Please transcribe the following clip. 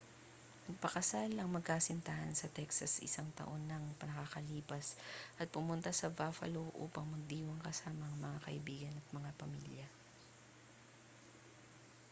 nagpakasal ang magkasintahan sa texas isang taon na ang nakalilipas at pumunta sa buffalo upang magdiwang kasama ang mga kaibigan at mga pamilya